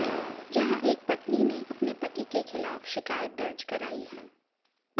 जहां एक पत्नी ने अपने पति के खिलाफ शिकायत दर्ज कराई है